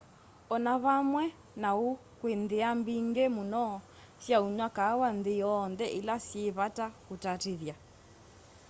o na vamwe na uu kwi nthia mbingi muno sya unywa kaawa nthi yonthe ila syi vata kutatithya